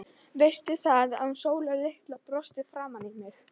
Veistu það, að hún Sóla litla brosti framan í mig.